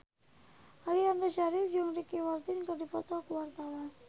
Aliando Syarif jeung Ricky Martin keur dipoto ku wartawan